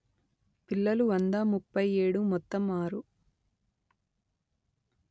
పిల్లలువంద ముప్పై ఏడుమొత్తం ఆరు